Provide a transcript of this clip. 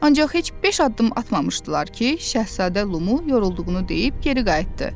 Ancaq heç beş addım atmamışdılar ki, Şahzadə Lumu yorulduğunu deyib geri qayıtdı.